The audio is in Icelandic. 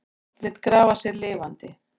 Lét grafa sig lifandi